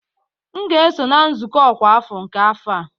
M ga-eso na nzukọ ọkwa afọ nke afọ a